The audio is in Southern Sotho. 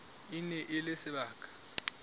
e ne e le sebaka